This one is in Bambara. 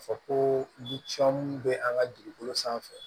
Ka fɔ ko bɛ an ka dugukolo sanfɛ